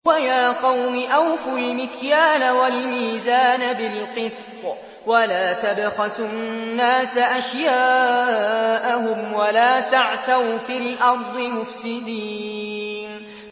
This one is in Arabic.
وَيَا قَوْمِ أَوْفُوا الْمِكْيَالَ وَالْمِيزَانَ بِالْقِسْطِ ۖ وَلَا تَبْخَسُوا النَّاسَ أَشْيَاءَهُمْ وَلَا تَعْثَوْا فِي الْأَرْضِ مُفْسِدِينَ